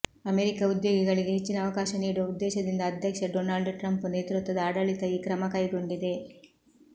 America ಉದ್ಯೋಗಿಗಳಿಗೆ ಹೆಚ್ಚಿನ ಅವಕಾಶ ನೀಡುವ ಉದ್ದೇಶದಿಂದ ಅಧ್ಯಕ್ಷ ಡೊನಾಲ್ಡ್ ಟ್ರಂಪ್ ನೇತೃತ್ವದ ಆಡಳಿತ ಈ ಕ್ರಮ ಕೈಗೊಂಡಿದೆ